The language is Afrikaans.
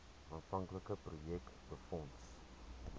aanvanklike projek befonds